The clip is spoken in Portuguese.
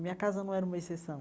Minha casa não era uma exceção.